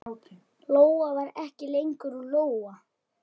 Lóa var ekki lengur Lóa.